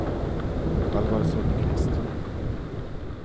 Alvar Sundkvist